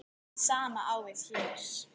Hið sama á við hér.